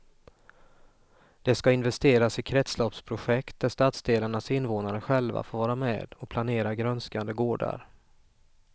Det ska investeras i kretsloppsprojekt där stadsdelarnas invånare själva får vara med och planera grönskande gårdar.